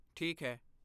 ਠੀਕ ਹੈ।